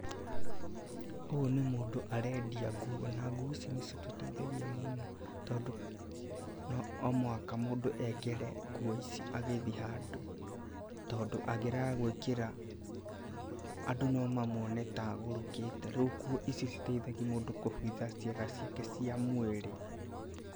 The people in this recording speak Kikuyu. Ũyũ nĩ mũndũ arendia ngũo, na ngũo ici nĩ citũteithagia mũno tondũ, no mũhaka mũndũ ekĩre ngũo ici agĩthiĩ handũ, tondũ angĩrega gũĩkĩra andũ no mamwone ta agurũkĩte. Rĩu ngũo ici citeithagia mũndũ kũhitha ciĩga ciake cia mwĩrĩ.